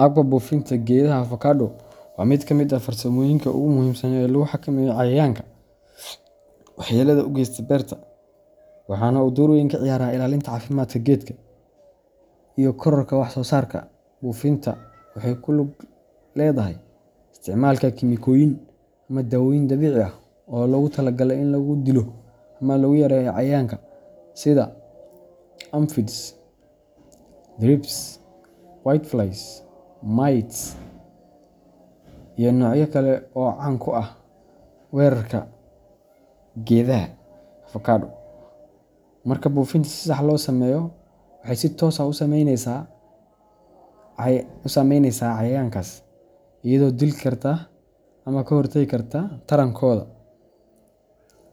Habka buufinta geedaha avocado waa mid ka mid ah farsamooyinka ugu muhiimsan ee lagu xakameeyo cayayaanka waxyeellada u geysta beerta, waxaana uu door weyn ka ciyaaraa ilaalinta caafimaadka geedka iyo kororka wax soo saarka. Buufinta waxay ku lug leedahay isticmaalka kiimikooyin ama daawooyin dabiici ah oo loogu tala galay in lagu dilo ama lagu yareeyo cayayaanka sida aphids, thrips, whiteflies, mites, iyo noocyo kale oo caan ku ah weerarka geedaha avocado. Marka buufinta si sax ah loo sameeyo, waxay si toos ah u saameyneysaa cayayaankaas iyadoo dili karta ama ka hortegi karta tarantooda,